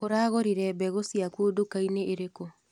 ũragũrire mbegũ ciaku ndukainĩ ĩrĩkũ.